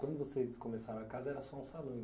Quando vocês começaram a casa, era só um salão.